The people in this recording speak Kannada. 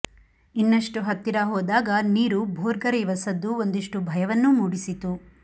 ಇನ್ನಷ್ಟು ಹತ್ತಿರ ಹೋದಾಗ ನೀರು ಭೋರ್ಗರೆಯುವ ಸದ್ದು ಒಂದಿಷ್ಟು ಭಯವನ್ನೂ ಮೂಡಿಸಿತು